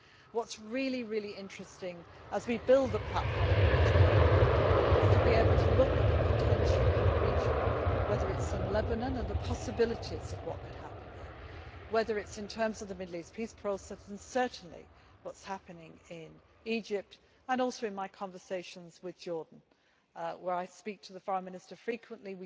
changing. What is really interesting, as we build the platform on which we operate, is to be able to look at the potential in the region whether it is in Lebanon and the possibilities of what could happen there, whether it is in terms of the Middle East peace process and certainly what is happening in Egypt and also in my conversations with Jordan, where I speak to the Foreign Minister frequently.